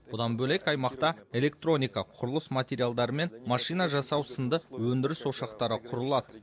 бұдан бөлек аймақта электроника құрылыс материалдары мен машина жасау сынды өндіріс ошақтары құрылады